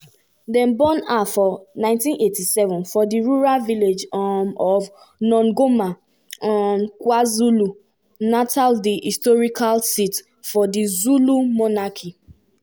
dem born her for 1987 for di rural village um of nongoma um kwazulu-natal di historical seat of di zulu monarchy.